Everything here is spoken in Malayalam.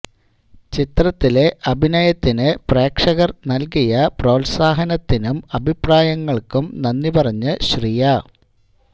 ചിത്രത്തിലെ അഭിനയത്തിന് പ്രേക്ഷകർ നൽകിയ പ്രോത്സാഹനത്തിനും അഭിപ്രായങ്ങൾക്കും നന്ദി പറഞ്ഞ് ശ്രീയ